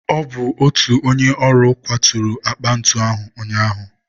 Ọ bụ otu onye ọrụ kwaturu akpa ntu ahụ ụnyaahụ.